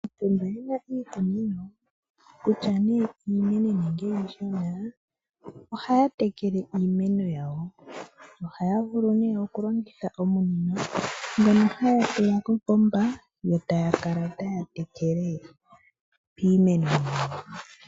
Aantu mba yena iikunino kutya nee iinene nenge iishona ohaya tekele iimeno yawo, ohaya vulu oku kongitha omunino ngono haya tula kopomba yo taya kala taya tekele piimeno yawo.